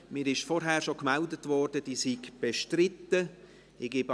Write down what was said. Es wurde mir bereits vorhin gemeldet, dass sie bestritten sei.